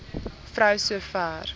vrou so ver